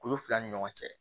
Kulu fila ni ɲɔgɔn cɛ